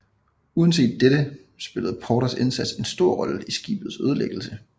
Uanset dette spillede Porters indsats en stor rolle i skibets ødelæggelse